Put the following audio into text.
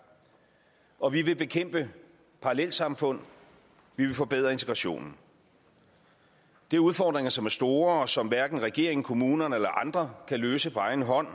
og vi vil bekæmpe parallelsamfund vi vil forbedre integrationen det er udfordringer som er store og som hverken regeringen kommunerne eller andre kan løse på egen hånd